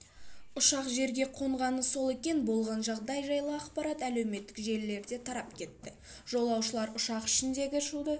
ұшақ жерге қонғаны сол екен болған жағдай жайлы ақпарат әлеуметтік желілерде тарап кетті жолаушылар ұшақ ішіндегі